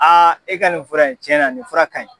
Aa e ka nin fura ye tiɲɛ na nin fɔra ka ɲi!